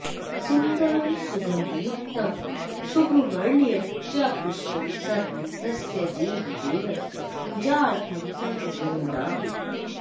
सुन्दरं सुगन्धयुकतं शुभवर्णीयं च पुष्पं सर्वं तस्य देवदेवस्य पूजार्थं सङ्गृह्णामि